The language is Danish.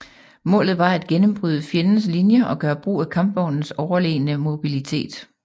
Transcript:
Målet var at gennembryde fjendens linjer og gøre brug af kampvognens overlegne mobilitet